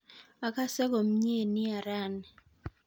Akase komnye nia raini